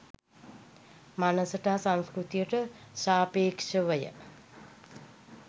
මනසට හා සංස්කෘතියට සාපේක්‍ෂව ය.